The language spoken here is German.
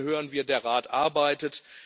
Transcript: Von Ihnen hören wir Der Rat arbeitet.